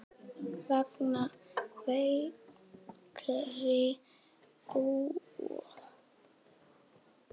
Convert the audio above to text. Mega veikir búa þar?